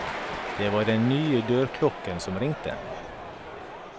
Det var den nye dørklokken som ringte.